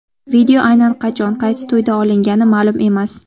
Video aynan qachon, qaysi to‘yda olingani ma’lum emas.